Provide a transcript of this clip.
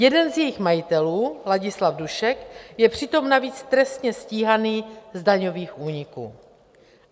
Jeden z jejích majitelů, Ladislav Dušek, je přitom navíc trestně stíhaný z daňových úniků.